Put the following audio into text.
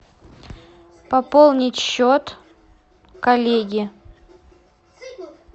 пополнить счет коллеги